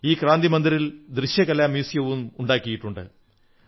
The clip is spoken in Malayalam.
ഈ ക്രാന്തി മന്ദിറിൽ ദൃശ്യകലാ മ്യൂസിയവും ഒരുക്കിയിട്ടുണ്ട്